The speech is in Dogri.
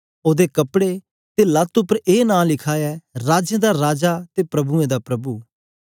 ओदे कपड़े ते लत उपर ए नां लिखे ऐ राजें दा राजा ते प्रभुएं दा प्रभु